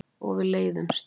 Og við leiðumst.